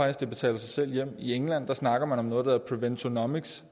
at det betaler sig selv hjem i england snakker man om noget der hedder preventonomics